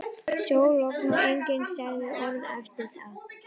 Sól, logn og enginn sagði orð eftir þetta.